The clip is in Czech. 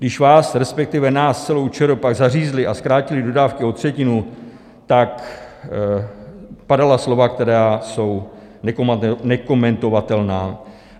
Když vás, respektive nás, celou ČR, pak zařízli a zkrátili dodávky o třetinu, padala slova, která jsou nekomentovatelná.